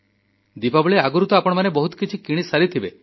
ଦୀପାବଳି ଆଗରୁ ତ ଆପଣମାନେ ବହୁତ କିଛି କିଣିସାରିଥିବେ